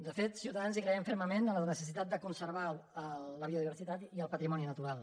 de fet ciutadans hi creiem fermament en la necessitat de conservar la biodiversitat i el patrimoni natural